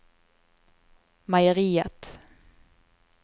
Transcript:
meieriet